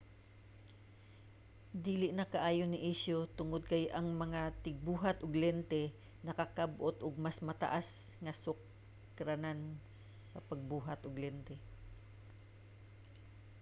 dili na kaayo ni isyu tungod kay ang mga tigbuhat og lente nakakab-ot og mas taas nga mga sukaranan sa pagbuhat og lente